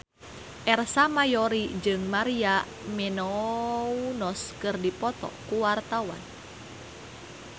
Ersa Mayori jeung Maria Menounos keur dipoto ku wartawan